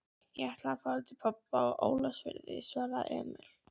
Ég ætlaði til afa á Ólafsfirði, svaraði Emil.